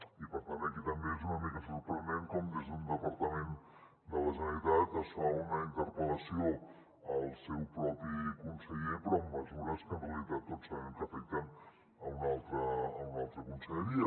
i per tant aquí també és una mica sorprenent com des d’un departament de la generalitat es fa una interpel·lació al seu propi conseller però amb mesures que en realitat tots sabem que afecten una altra conselleria